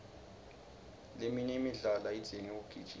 leminye imidlalo ayidzingi kugijima